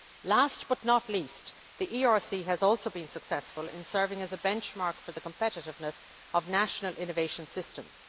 Last but not least, the ERC has also been successful in serving as a benchmark for the competitiveness of national innovation systems.